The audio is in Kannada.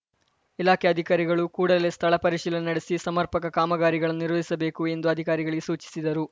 ಇಲಾಖೆ ಅಧಿಕಾರಿಗಳು ಕೂಡಲೇ ಸ್ಥಳ ಪರಿಶೀಲನೆ ನಡೆಸಿ ಸಮರ್ಪಕ ಕಾಮಗಾರಿಗಳನ್ನು ನಿರ್ವಹಿಸಬೇಕು ಎಂದು ಅಧಿಕಾರಿಗಳಿಗೆ ಸೂಚಿಸಿದರು